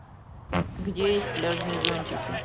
где есть пляжные зонтики